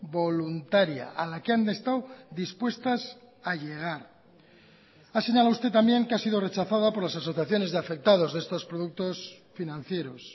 voluntaria a la que han estado dispuestas a llegar ha señalado usted también que ha sido rechazada por las asociaciones de afectados de estos productos financieros